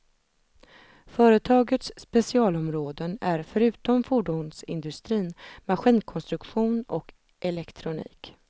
Företagets specialområden är förutom fordonsindustrin maskinkonstruktion och elektronik.